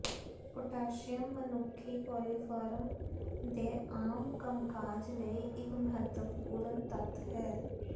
potassium ਮਨੁੱਖੀ coliform ਦੇ ਆਮ ਕੰਮਕਾਜ ਲਈ ਇੱਕ ਮਹੱਤਵਪੂਰਨ ਤੱਤ ਹੈ